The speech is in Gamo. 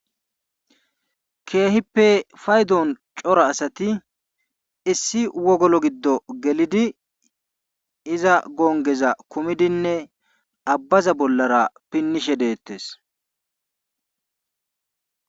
Keehippe faydon cora asati issi issi wogolo giddo gelidi iza gonggeza kumidinne abbaza bollara pinnishe deettees.